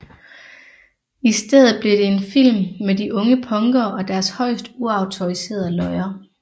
I stedet blev det en film med de unge punkere og deres højst uautoriserede løjer